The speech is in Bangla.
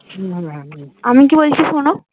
আমি কি বলছি শোনো